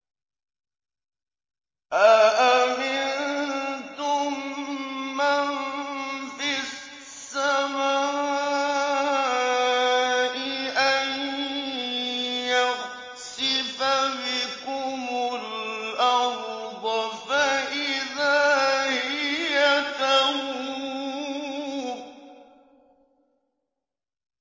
أَأَمِنتُم مَّن فِي السَّمَاءِ أَن يَخْسِفَ بِكُمُ الْأَرْضَ فَإِذَا هِيَ تَمُورُ